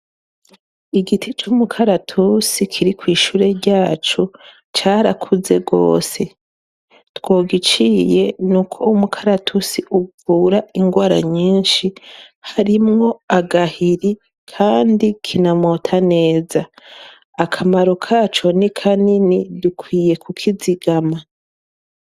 Igiti cy'umukaratusi kiri kw'ishure ryacu carakuze gose twogiciye nuko umukaratusi uvura ingwara nyinshi harimwo agahiri kandi kinamota neza akamaro kaco Ni kanini dukwiye kukizigama.